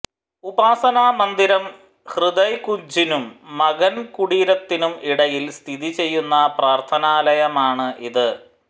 ഉപാസനാ മന്ദിരം ഹൃദയ്കുഞ്ജിനും മഗൻ കുടീരത്തിനും ഇടയിൽ സ്ഥിതിചെയ്യുന്ന പ്രാർത്ഥനാലയമാണ് ഇത്